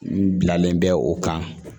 N bilalen bɛ o kan